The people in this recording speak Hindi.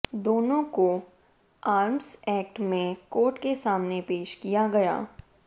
दोनों को आर्म्स एक्ट में कोर्ट के सामने पेश किया गया